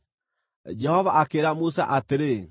Jehova akĩĩra Musa atĩrĩ,